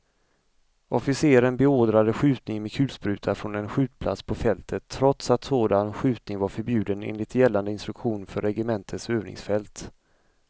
Officeren beordrade skjutning med kulspruta från en skjutplats på fältet, trots att sådan skjutning var förbjuden enligt gällande instruktion för regementets övningsfält.